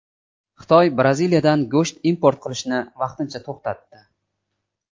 Xitoy Braziliyadan go‘sht import qilishni vaqtincha to‘xtatdi.